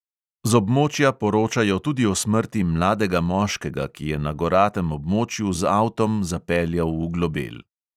Z območja poročajo tudi o smrti mladega moškega, ki je na goratem območju z avtom zapeljal v globel.